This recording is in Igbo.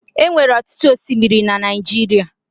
Enwere ọtụtụ osimiri na Naijiria